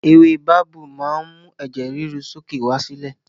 Ewé babú máa ń mú ẹ̀jẹ̀ ríru sókè wá sílẹ̀